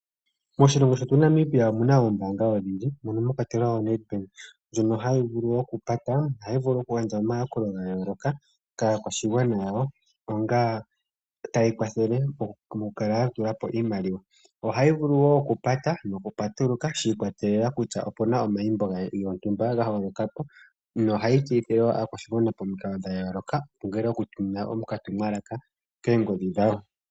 Moshilongo shetu Namibia omuna oombaanga odhindji mono mwakwatelwa o Nedbank ndjonk hayi vulu okupata, ohayi vulu okugandja omayakulo ga yooloka kaakwashigwana yawo onga taya kwathele mokukala ya tulapo iimaliwa. Ohayi vulu woo okupata noku patuluka shi ikwatelela kutya opena omayimbo gontumba ga holokapo no ohayi tseyithile aakwashigwana pomikalo dha yooloka taya vulu okutuminwa oka tumwalaka koongodhi dhawo.